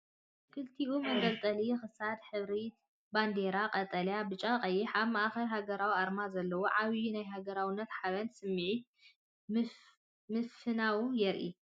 ክልቲኡ መንጠልጠሊ ክሳድ ሕብርታት ባንዴራ ኢትዮጵያ (ቀጠልያ፣ ብጫ፣ ቀይሕ)ን ኣብ ማእኸል ሃገራዊ ኣርማ ዘለዎን፤ ዓብይ ናይ ሃገራውነትን ሓበንን ስምዒት ምፍናው የርኢ!